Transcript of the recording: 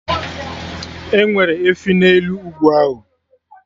Enwere efi n'elu ugwu ahụ